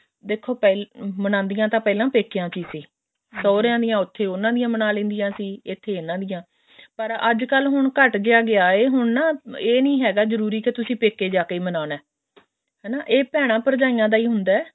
ਦੇਖੋ ਪਹਿਲਾਂ ਮਨਾਉਂਦੀਆਂ ਤਾਂ ਪਹਿਲਾਂ ਪੇਕਿਆਂ ਚ ਹੀ ਸੀ ਸੋਹਰਿਆਂ ਦੀ ਉੱਥੇ ਉਹਨਾ ਦੀਆਂ ਮਨਾ ਲੈਂਦੀਆਂ ਸੀ ਇੱਥੇ ਇਹਨਾ ਦੀਆਂ ਪਰ ਅੱਜਕਲ ਹੁਣ ਘਟ ਜਾ ਗਿਆ ਹੈ ਹੁਣ ਨਾ ਇਹ ਨੀ ਹੈਗਾ ਜਰੂਰੀ ਵੀ ਤੁਸੀਂ ਪੇਕੇ ਜਾ ਕੇ ਮਨਾਉਣਾ ਹਨਾ ਇਹ ਭੇਣਾ ਭਰਜਾਈਆਂ ਦਾ ਹੀ ਹੁੰਦਾ